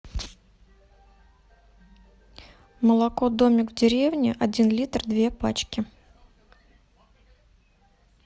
молоко домик в деревне один литр две пачки